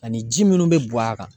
Ani ji minnu bɛ bɔn a kan